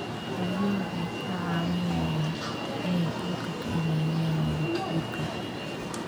Xooluhu waxay ka caawinayaan inay dhulka ka ilaaliyaan nabaad-guurka.